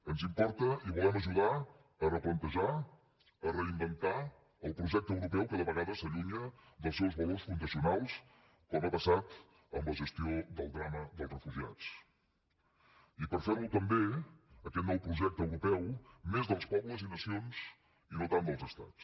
ens importa i volem ajudar a replantejar a reinventar el projecte europeu que de vegades s’allunya dels seus valors fundacionals com ha passat en la gestió del drama dels refugiats i fer lo també aquest nou projecte europeu més dels pobles i nacions i no tant dels estats